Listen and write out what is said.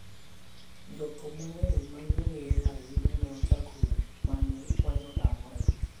Jothum mang'eny ma ne ong'ere ahinya ne ochako wer ma ne Wine otamore.